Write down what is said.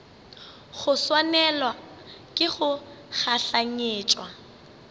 go swanelwa ke go gahlanetšwa